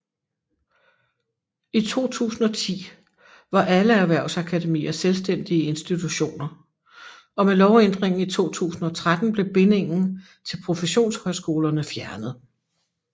I 2010 var alle erhvervsakademier selvstændige institutioner og med lovændringen i 2013 blev bindingen til professionshøjskolerne fjernet